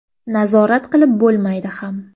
Nazorat qilib bo‘lmaydi ham.